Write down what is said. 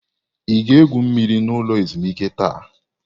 Ị ga-egwu mmiri n'ụlọ ezumuike taa?